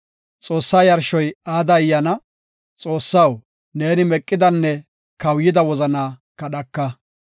Xoossaa yarshoy aada ayyaana; Xoossaw, ne meqidanne kawuyida wozanaa kadhaka.